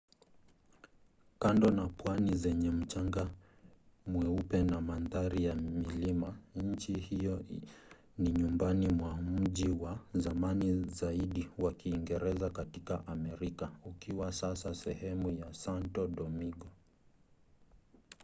kando na pwani zenye mchanga mweupe na mandhari ya milima nchi hiyo ni nyumbani mwa mji wa zamani zaidi wa kiingereza katika amerika ukiwa sasa sehemu ya santo domingo